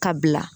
Ka bila